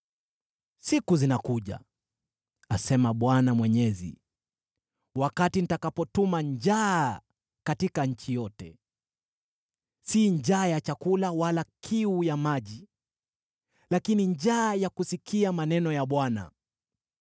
“Siku zinakuja,” asema Bwana Mwenyezi, “wakati nitakapotuma njaa katika nchi yote: si njaa ya chakula wala kiu ya maji, lakini njaa ya kusikia maneno ya Bwana .